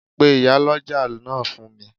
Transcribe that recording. Pe Ìyálọ́jà náà fún mi